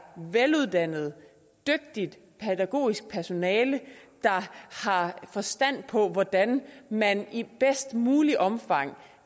veluddannet dygtigt pædagogisk personale der har forstand på hvordan man i bedst muligt omfang